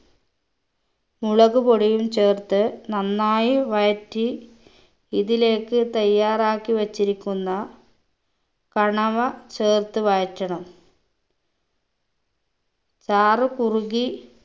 മുളക്പൊടിയും ചേർത്ത് നന്നായി വഴറ്റി ഇതിലേക്ക് തയ്യാറാക്കി വെച്ചിരിക്കുന്ന കണവ ചേർത്ത് വഴറ്റണം ചാറ് കുറുകി